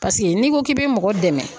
Paseke n'i ko k'i bɛ mɔgɔ dɛmɛ